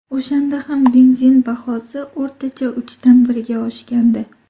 O‘shanda ham benzin bahosi o‘rtacha uchdan birga oshgandi.